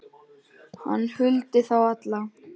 Hann huldi þá alla